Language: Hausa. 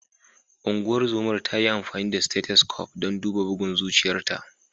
Ungozomar ta yi amfani da stethoscope don duba bugun zuciyarta.